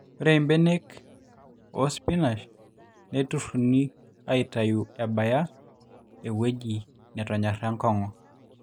ore imbenek oosipinash neiterruni aaitau enabaya ewueji netonyorra enkong'u